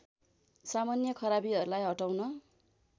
सामान्य खराबीहरूलाई हटाउन